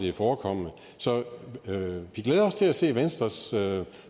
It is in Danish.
er forekommet så vi glæder os til at se venstres